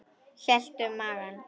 Hélt um magann.